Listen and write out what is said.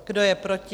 Kdo je proti?